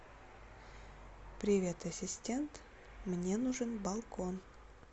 привет ассистент мне нужен балкон